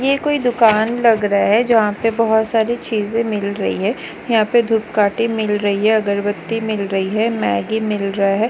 ये कोई दुकान लग रहा है जहा पे बहुत सारे चीजें मिल रही है यहाँ पे धुपकाटे मिल रही है अगरबती मिल रही है मैगी मिल रही है।